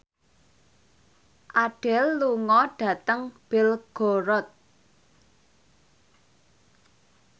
Adele lunga dhateng Belgorod